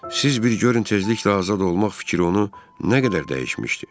Siz bir görün tezliklə azad olmaq fikri onu nə qədər dəyişmişdi.